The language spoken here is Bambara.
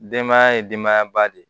Denbaya ye denbaya ba de ye